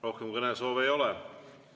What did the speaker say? Rohkem kõnesoove ei ole.